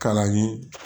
Kalan ye